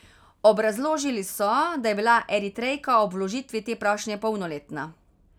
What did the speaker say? Obrazložili so, da je bila Eritrejka ob vložitvi te prošnje polnoletna.